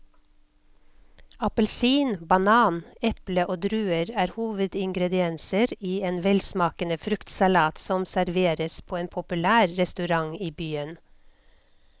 Appelsin, banan, eple og druer er hovedingredienser i en velsmakende fruktsalat som serveres på en populær restaurant i byen.